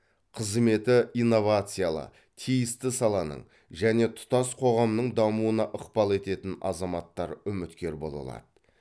қызметі инновациялы тиісті саланың және тұтас қоғамның дамуына ықпал ететін азаматтар үміткер бола алады